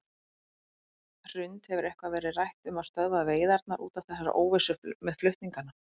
Hrund: Hefur eitthvað verið rætt um að stöðva veiðarnar út af þessari óvissu með flutningana?